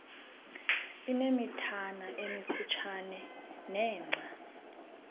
inemithana emifutshane nengca